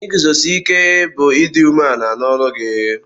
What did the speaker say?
Iguzosike bu idi ume ala n'olụ gi